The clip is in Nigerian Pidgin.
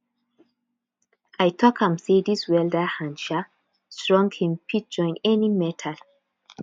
i tok am sey dis welder hand um strong him fit join any metal